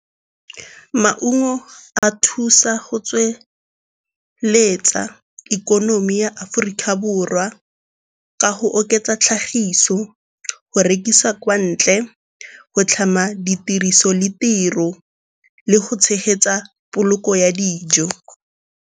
Maungo a thusa go tsweletsa ikonomi ya Aforika Borwa ka go oketsa tlhagiso, go rekisa kwa ntle, go tlhama ditiriso le tiro. Le go tshegetsa poloko ya dijo.